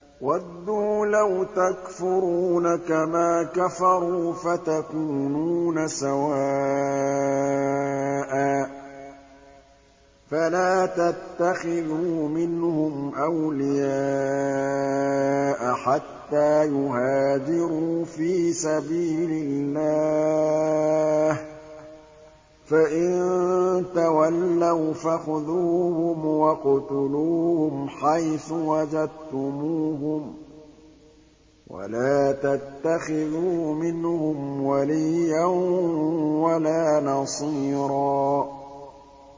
وَدُّوا لَوْ تَكْفُرُونَ كَمَا كَفَرُوا فَتَكُونُونَ سَوَاءً ۖ فَلَا تَتَّخِذُوا مِنْهُمْ أَوْلِيَاءَ حَتَّىٰ يُهَاجِرُوا فِي سَبِيلِ اللَّهِ ۚ فَإِن تَوَلَّوْا فَخُذُوهُمْ وَاقْتُلُوهُمْ حَيْثُ وَجَدتُّمُوهُمْ ۖ وَلَا تَتَّخِذُوا مِنْهُمْ وَلِيًّا وَلَا نَصِيرًا